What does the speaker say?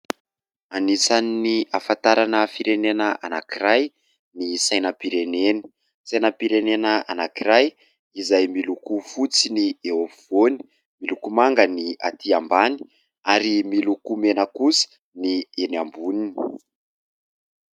Anisan'ny ahafantarana firenena anankiray ny sainam-pirenena. Sainam-pirenena anankiray izay miloko fotsy ny eo afovoany, miloko manga ny atỳ ambany ary miloko mena kosa ny eny amboniny.